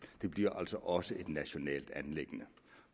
det bliver altså også et nationalt anliggende